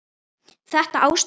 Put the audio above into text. Þetta ástand?